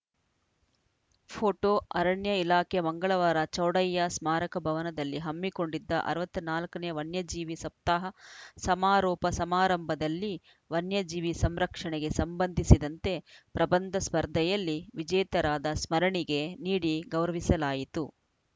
photo ಅರಣ್ಯ ಇಲಾಖೆ ಮಂಗಳವಾರ ಚೌಡಯ್ಯ ಸ್ಮಾರಕ ಭವನದಲ್ಲಿ ಹಮ್ಮಿಕೊಂಡಿದ್ದ ಅರವತ್ತ್ ನಾಲ್ಕ ನೇ ವನ್ಯಜೀವಿ ಸಪ್ತಾಹ ಸಮಾರೋಪ ಸಮಾರಂಭದಲ್ಲಿ ವನ್ಯ ಜೀವಿ ಸಂರಕ್ಷಣೆಗೆ ಸಂಬಂಧಿಸಿದಂತೆ ಪ್ರಬಂಧ ಸ್ಪರ್ಧೆಯಲ್ಲಿ ವಿಜೇತರಾದ ಸ್ಮರಣಿಗೆ ನೀಡಿ ಗೌರವಿಸಲಾಯಿತು